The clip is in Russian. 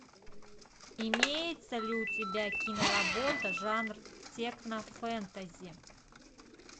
имеется ли у тебя киноработа жанр технофэнтези